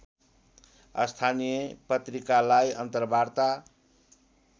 स्थानीय पत्रिकालाई अन्तरवार्ता